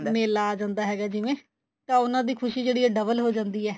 ਮੇਲਾ ਆ ਜਾਂਦਾ ਹੈਗਾ ਜਿਵੇਂ ਤਾਂ ਉਹਨਾ ਦੀ ਖੁਸ਼ੀ ਜਿਹੜੀ ਏ double ਹੋ ਜਾਂਦੀ ਏ